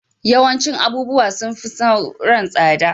Yawancin abubuwa sun fi sauran tsada